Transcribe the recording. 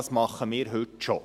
Das machen wir heute schon.